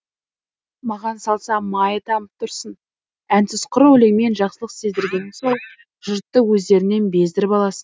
маған салса майы тамып тұрсын әнсіз құр өлеңмен жақсылық сездіргенің сол жұртты өздеріңнен бездіріп аласың